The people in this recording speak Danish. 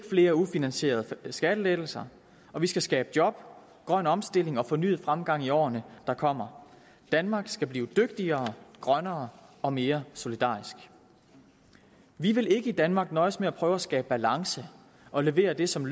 flere ufinansierede skattelettelser og vi skal skabe job grøn omstilling og fornyet fremgang i årene der kommer danmark skal blive dygtigere grønnere og mere solidarisk vi vil ikke i danmark nøjes med at prøve at skabe balance og levere det som